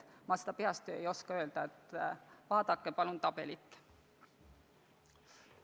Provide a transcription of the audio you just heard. Ma seda peast ei oska öelda, vaadake palun tabelit!